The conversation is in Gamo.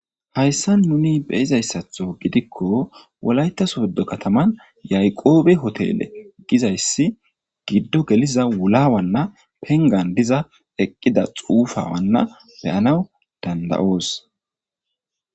hayssa nuni beyizayssatho gidikko wolaytaswoddo kataman yaqoobe hotele gizayssi giddo geliza wulawanna pengan diza eqqida xuufawanna beyanaw dandayoos